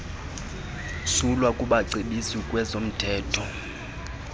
msulwa kubacebisi ngezomthetho